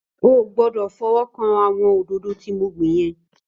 Ó gbòdò fòwòkán áwòn ódodõ ti mó gbin yèn